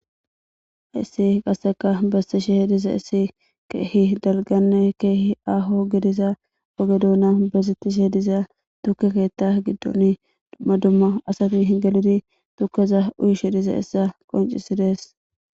issi qasseka bessishe hediza issi keehi dalganne keehi aho gidiza ogedoona bezittishe diza tukekeetta giddon dumma dumma asati hi geludi tukkeza uyushe diza issa qoncisides